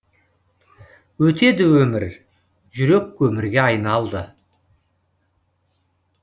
өтеді өмір жүрек көмірге айналды